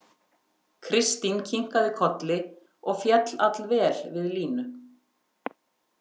Kristín kinkaði kolli og féll allvel við Línu.